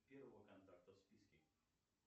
первого контакта в списке